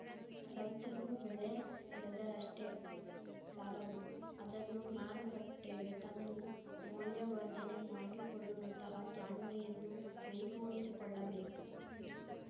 ರೈತರೂ ಬೆಳೆ ಬೆಳೆದರಷ್ಟೇ ಸಾಲದು ಅದನ್ನು ಮಾರುಕಟ್ಟೆಗೆ ತಂದು ಮೌಲ್ಯವರ್ಧನೆ ಮಾಡಿಕೊಳ್ಳುವಂತಹ ಜಾಣ್ಮೆಯನ್ನೂ ಮೈಗೂಡಿಸಿಕೊಳ್ಳಬೇಕು